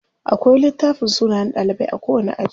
Akwai littafin sunayen ɗalibai a kowani aji.